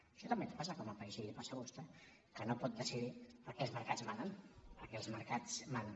això també ens passa com a país i li passa a vostè que no pot decidir perquè els mercats manen perquè els mercats manen